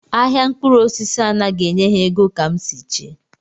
Ahịa mkpụrụosisi anaghị enye ha ego etu m si chee